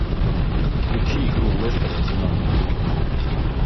включи игру лестер арсенал